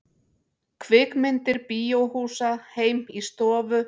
Kvikmyndir bíóhúsa heim í stofu